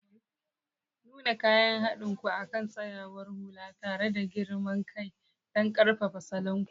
Nuna kayan haɗin ku akan tsayawar hula tare da girman kai don ƙarfafa salon ku.